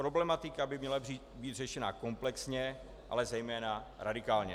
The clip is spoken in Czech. Problematika by měla být řešena komplexně, ale zejména radikálně.